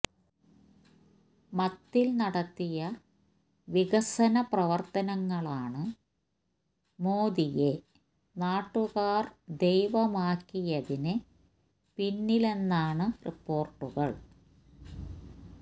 മത്തിൽ നടത്തിയ വികസന പ്രവർത്തനങ്ങളാണ് മോദിയെ നാട്ടുകാർ ദൈവമാക്കിയതിന് പിന്നിലെന്നാണ് റിപ്പോർട്ടുകൾ